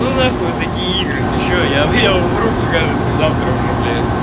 ну нахуй такие игры ты что я умру кажется завтра уже блять